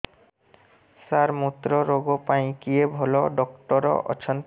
ସାର ମୁତ୍ରରୋଗ ପାଇଁ କିଏ ଭଲ ଡକ୍ଟର ଅଛନ୍ତି